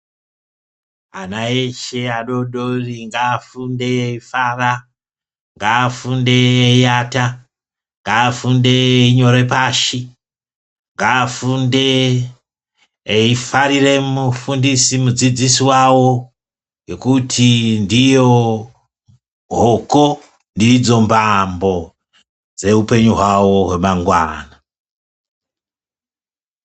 Ana eshe adori dori ngaafunde eyifara. Ngaafunde eyiata, ngaafunde eyinyore pashi, ngaafunde eyifarire mufundisi-mudzidzisi wawo nekuti ndiyo hoko, ndidzo mbambo dzeupenyu hwawo hwemangwana.